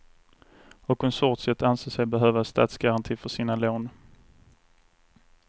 Och konsortiet anser sig behöva statsgaranti för sina lån.